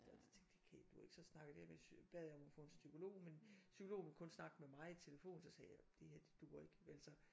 Og det tænkte det kan duer ikke så snakkede jeg med bad jeg om at få en psykolog men psykologen ville kun snakke med mig i telefonen så sagde jeg det her det duer ikke vel så